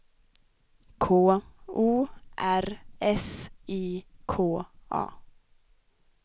K O R S I K A